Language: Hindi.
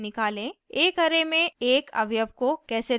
* एक array में एक अवयव को कैसे replace करें यानी बदलें